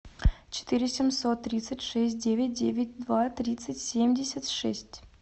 четыре семьсот тридцать шесть девять девять два тридцать семьдесят шесть